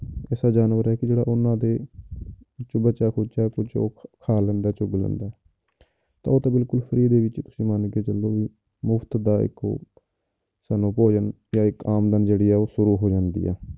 ਐਸਾ ਜਾਨਵਰ ਹੈ ਕਿ ਜਿਹੜਾ ਉਹਨਾਂ ਦੇ ਕਿ ਬੱਚਿਆ ਖੁੱਚਿਆ ਕੁਛ ਉਹ ਕਾ ਲੈਂਦਾ ਹੈ ਚੁੱਗ ਲੈਂਦਾ ਹੈ ਤਾਂ ਉਹ ਤਾਂ ਬਿਲਕੁਲ free ਦੇ ਵਿੱਚ ਤੁਸੀਂ ਮੰਨ ਕੇ ਚੱਲੋ ਵੀ ਮੁਫ਼ਤ ਦਾ ਇੱਕ ਉਹ ਸਾਨੂੰ ਭੋਜਨ ਜਾਂ ਇੱਕ ਆਮਦਨ ਜਿਹੜੀ ਆ ਉਹ ਸ਼ੁਰੂ ਹੋ ਜਾਂਦੀ ਆ।